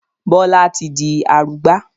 Bọlá tí di arugbá